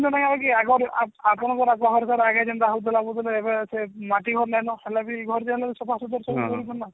ଆଗରେ ଆପଣଙ୍କ ଆଗରୁ ଆଜ୍ଞା ଜେନ୍ତା ହାଉଥିଲା ବୁଝିଲେ ଏବେ ସେ ମାଟି ଘର ନାଇଁ ନ ହେଲେବି ଏ ଘର ଯାହାହେଲେ ସଫାସୁତର କରୁଛନ ନା